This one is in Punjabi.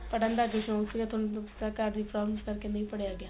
ਪੜ੍ਹਣ ਦਾ ਜਨੂਨ ਸੀਗਾ ਘਰ ਦੇ problems ਕਰ ਕੇ ਨਹੀਂ ਪੜ੍ਹੀਆ ਗਿਆ